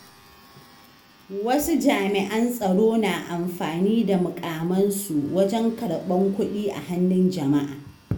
Wasu jami’an tsaro na amfani da muƙamansu wajen karɓan kuɗi a hannun jama'a.